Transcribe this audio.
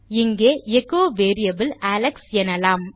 இங்கே echo variable Alex எனலாம்